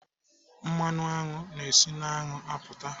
Mmanụ aṅụ na-esi n'aṅụ apụta.